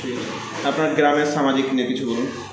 আপনার গ্রামের সামাজিক নিয়ে কিছু বলুন